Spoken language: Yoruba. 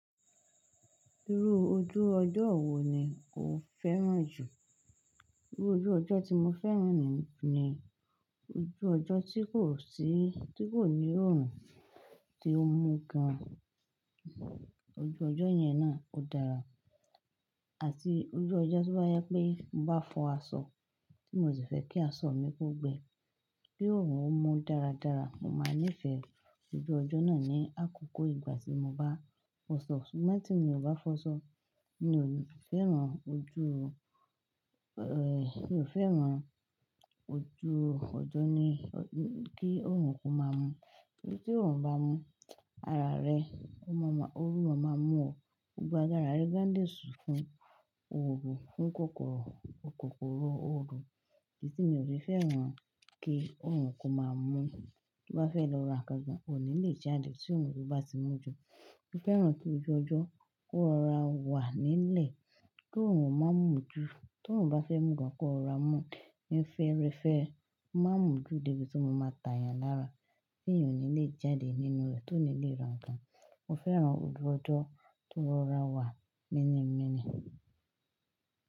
Irú ojú ọjọ́ wo ni o fẹ́ràn jù? Irú ojú ọjọ́ tí mo fẹ́ràn ni, ojú ọjọ́ tí kò ní òórùn tí ó mú gan. Ojú ọjọ́ yẹn náà ó dára. Àti ojú ọjọ́ tí o bá je pé mo bá fọ aṣọ, tí mo sì fẹ́ kí aṣọ mi kó gbẹ. Bí òórùn ó mú dáradára, mo máa nífẹ̀ẹ́ ojú ọjọ́ náà ní àkókò ìgbà tí mo bá fọ aṣọ. Ṣùgbọ́n tí mo ò bá fọ aṣọ, mi ò fẹ́ràn ojú ọjọ́ ti òórùn kó máa mú. Tori tí òórùn bá mú, oru máa ma mú ọ̀, gbogbo ára rẹ gan lé sùn fún òrò, fún kòkòrò òrò. Edi ti mi ò sè fẹ́ràn kí òórùn kó máa mú. To bá fẹ́ lọ ra nǹkan gan, ò ní lè jáde tí òórùn bá ti mú ju. Mo fẹ́ràn kí ojú ọjọ́ kó rọra wà nílẹ̀, ko òórùn má mú ju, to òórùn bá fẹ́ mú gan, kó rọra mú. Ni fẹ́rẹ̀ẹ́ fẹ́, o ma mú dé ibi tí o máa tà yen lára, tí èèyàn ò ní lè jáde nínú rẹ̀, tó ní lè ra nǹkan. Mo fẹ́ràn ojú ọjọ́ tó rọra wà mẹ́nìmẹ́nì.